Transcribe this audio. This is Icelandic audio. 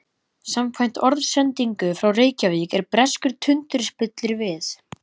Samkvæmt orðsendingu frá Reykjavík er breskur tundurspillir við